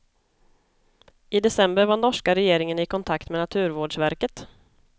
I december var norska regeringen i kontakt med naturvårdsverket.